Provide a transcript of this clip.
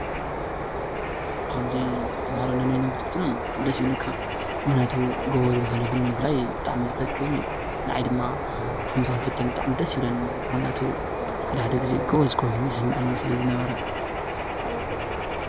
ብከ ምዚ ተማሃሮነነቦይኖሞ ክትፍትኖሞምክኒያቱ ጎበዝኒ ሰነፈነኒምፍላይ በጣዕሚ ዝጠቅም እዩ፡፡ ናዓይ ዲማ ክምዚ ክኒፍትኒ በጣዕሚ እዩ ደሰ ዝብለኒ፡፡ መክኒያቱ ሓደግዚየ ጎቦዝ ኮይኑ ይሰመዒኒ ሰለዝነበረ?